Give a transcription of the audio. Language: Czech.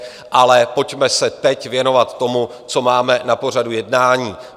Ale pojďme se teď věnovat tomu, co máme na pořadu jednání.